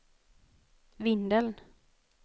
Vindeln